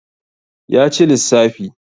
ya ci lissafi